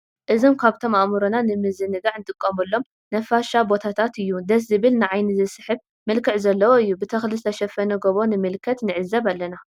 እዞም ካብቶም ኣእምሮና ንምንዝንጋዕ ኣንጥቀመሎም ነፋሻ ቦታታት እዩ። ደስ ዝብል ን ዓይኒ ዝስሕብ መልክዕ ዘለዎ እዮ። ብተክሊ ዝተሸፈነ ጎቦ ንምልከት ንዕዘብ ኣለና።